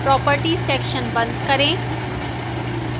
properties section बंद करें